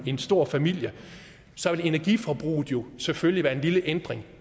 en stor familie så vil energiforbruget selvfølgelig være en lille ændring